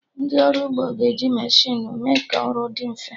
Ndị ọrụ ugbo ga-eji mechinu mee ka ọrụ dị mfe